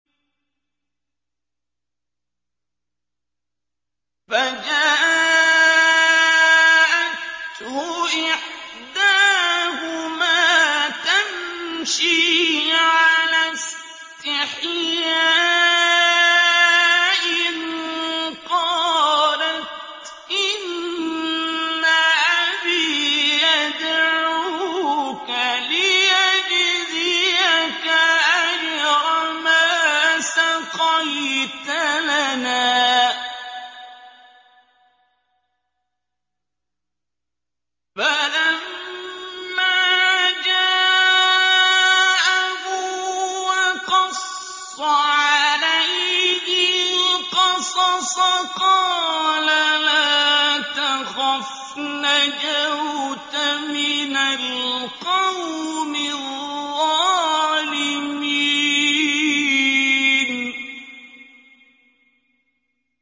فَجَاءَتْهُ إِحْدَاهُمَا تَمْشِي عَلَى اسْتِحْيَاءٍ قَالَتْ إِنَّ أَبِي يَدْعُوكَ لِيَجْزِيَكَ أَجْرَ مَا سَقَيْتَ لَنَا ۚ فَلَمَّا جَاءَهُ وَقَصَّ عَلَيْهِ الْقَصَصَ قَالَ لَا تَخَفْ ۖ نَجَوْتَ مِنَ الْقَوْمِ الظَّالِمِينَ